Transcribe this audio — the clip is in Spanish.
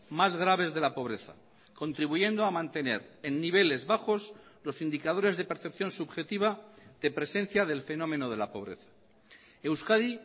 más graves de la pobreza contribuyendo a mantener en niveles bajos los indicadores de percepción subjetiva de presencia del fenómeno de la pobreza euskadi